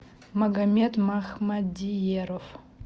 магомед махмадиеров